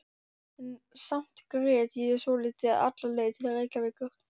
En samt grét ég svolítið alla leið til Reykjavíkur.